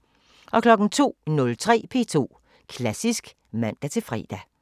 02:03: P2 Klassisk (man-fre)